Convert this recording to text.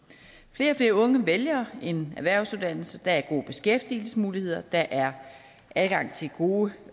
flere unge vælger en erhvervsuddannelse der er gode beskæftigelsesmuligheder der er adgang til gode